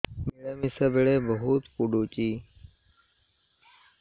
ମିଳାମିଶା ବେଳେ ବହୁତ ପୁଡୁଚି